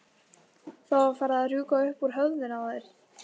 Það var farið að rjúka upp úr höfðinu á þér.